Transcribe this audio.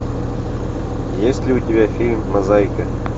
есть ли у тебя фильм мозаика